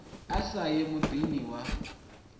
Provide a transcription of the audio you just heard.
a sa ye muḓini wa